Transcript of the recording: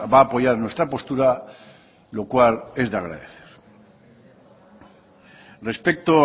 a apoyar nuestra postura lo cual es de agradecer respecto